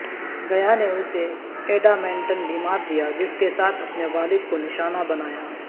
گیا نے اسے ایڈامینٹن بیمار دیا جس کے ساتھ اپنے والد کو نشانہ بنایا